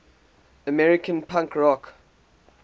american punk rock